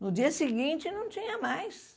No dia seguinte não tinha mais.